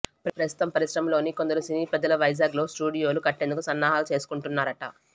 ప్రస్తుతం పరిశ్రమలోని కొందరు సినీ పెద్దలు వైజాగ్ లో స్టూడియోలు కట్టేందుకు సన్నాహాలు చేసుకుంటున్నారట